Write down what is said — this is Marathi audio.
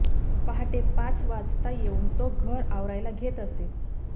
पहाटे पाच वाजता येऊन तो घर आवरायला घेत असे